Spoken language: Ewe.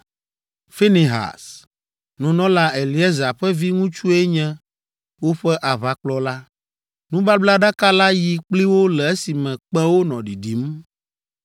Finehas, nunɔla Eleazar ƒe viŋutsue nye woƒe aʋakplɔla. Nubablaɖaka la yi kpli wo le esime kpẽwo nɔ ɖiɖim.